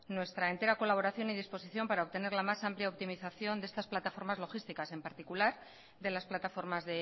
nuestra entera colaboración y disposición para obtener la más amplia optimización de estas plataformas logísticas en particular de las plataformas